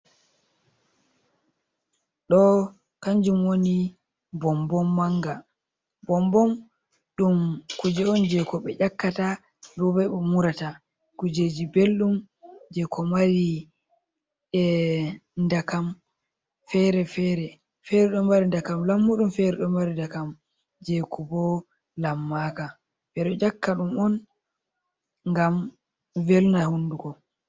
Ɗoo kanjum wooni bombon maanga. Bombon ɗum kuuje'on je koɓe ƴakkata, ɗube umuurata. Kuujeji belɗum je ko marii ndakam fere- fere. Ɗo mari ndakam lammuuɗum fere ɗo maari ndakam je kobo lammaka. Ɓeɗo ƴakkaɗum'on ngam velna huunduko.